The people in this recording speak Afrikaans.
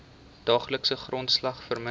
daaglikse grondslag verminder